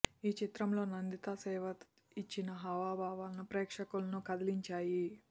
ఈ చిత్రంలో నందిత శే్వత ఇచ్చిన హావభావాలు ప్రేక్షకులను కదిలించాయి